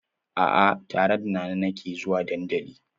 A'a, tare da Nana nake zuwa dandali.